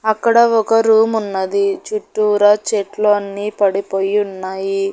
అక్కడ ఒక రూమ్ ఉన్నది చుట్టూరా చెట్లు అన్నీ పడిపోయి ఉన్నాయి.